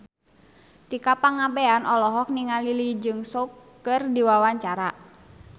Tika Pangabean olohok ningali Lee Jeong Suk keur diwawancara